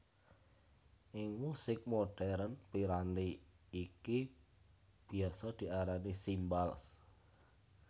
Ing musik modern piranti iki biasa diarani cymbals